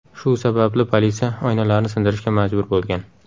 Shu sababli politsiya oynalarni sindirishga majbur bo‘lgan.